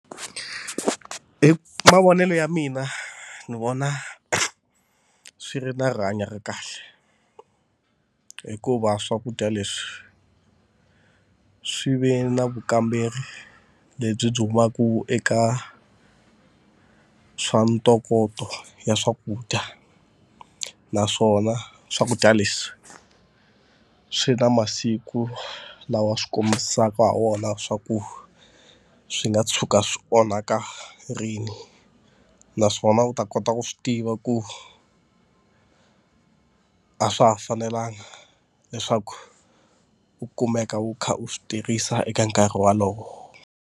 Hi mavonelo ya mina ni vona swi ri na rihanyo ra kahle hikuva swakudya leswi swi ve na vukamberi lebyi byi humaka eka swa ntokoto ya swakudya. Naswona swakudya leswi swi na masiku lawa swi kombisaka ha wona swa ku swi nga tshuka swi onhaka rini. Naswona u ta kota ku swi tiva ku a swa ha fanelanga leswaku u kumeka u kha u swi tirhisa eka nkarhi wolowo.